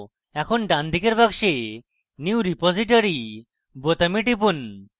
এখন ডানদিকের box new repository বোতামে টিপুন